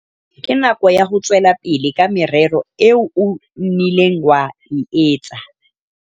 Ke nako ya ho tswela pele ka merero eo o nnileng wa e etsa.